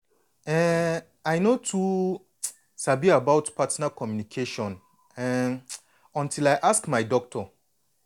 eh i no too um sabi about partner communication um until me i ask my doctor.